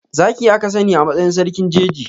Zaki aka sani a matsayin sarkin jeji.